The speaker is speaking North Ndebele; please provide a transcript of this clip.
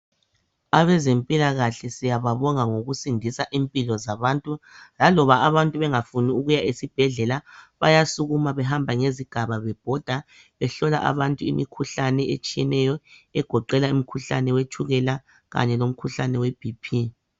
Abazempilakahle siyababonga ngokusindisa impilo zabantu. Laloba abantu bengafuni ukuya esibhedlela, bayasukuma behambe ngezigaba bebhoda behlola abantu imikhuhlane etshiyeneyo egoqela umkhuhlane wetshukela kanye lomkhuhlane weBP.